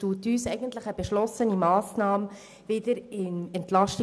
Sie legt uns eine beschlossene Massnahme wieder im EP vor.